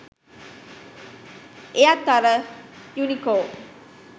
එයත් අර යුනිකෝ